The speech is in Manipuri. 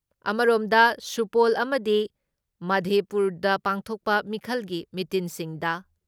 ꯑꯃꯔꯣꯝꯗ, ꯁꯨꯄꯣꯜ ꯑꯃꯗꯤ ꯃꯥꯙꯦꯄꯨꯔꯗ ꯄꯥꯡꯊꯣꯛꯄ ꯃꯤꯈꯜꯒꯤ ꯃꯤꯇꯤꯟꯁꯤꯡꯗ